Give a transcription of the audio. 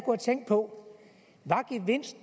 og tænkt på